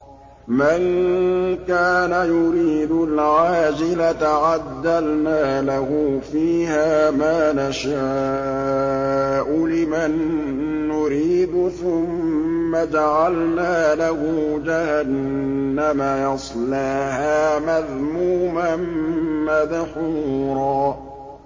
مَّن كَانَ يُرِيدُ الْعَاجِلَةَ عَجَّلْنَا لَهُ فِيهَا مَا نَشَاءُ لِمَن نُّرِيدُ ثُمَّ جَعَلْنَا لَهُ جَهَنَّمَ يَصْلَاهَا مَذْمُومًا مَّدْحُورًا